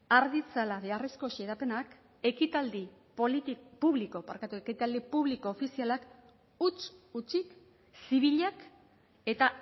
har ditzala beharrezko xedapenak ekitaldi publiko ofizialak huts hutsik zibilak eta